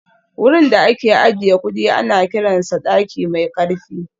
Wurin da ake ajiye kudi ana kiransa daki mai karfi